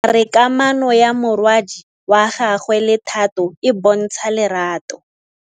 Bontle a re kamanô ya morwadi wa gagwe le Thato e bontsha lerato.